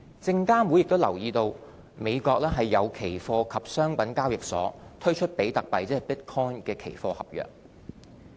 證監會也留意到美國有期貨及商品交易所推出比特幣期貨合約。